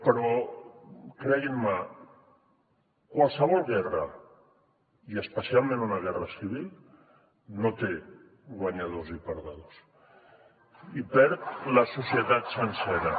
però creguin me qualsevol guerra i especialment una guerra civil no té guanyadors i perdedors hi perd la societat sencera